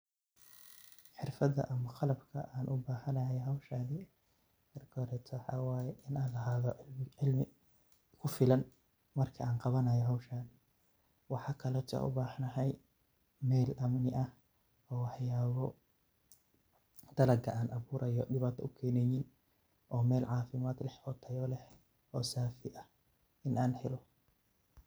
Xirfada ama qalabka an ogubahanahay howshan marka hore waxa waye inan lahada cimli igufilan marka an qawanayo howshan. Waxa kale oo ubahanahay meel amni aah waxyabo dalaga an gurayo an diwato ukeneynin oo meel camifad leeh oo tayo leeh oo safi aah in an helo.